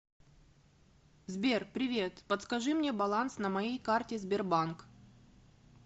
сбер привет подскажи мне баланс на моей карте сбербанк